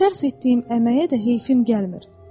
Sərf etdiyim əməyə də heyfim gəlmir.